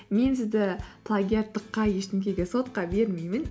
мен сізді плагиаттыққа ештеңеге сотқа бермеймін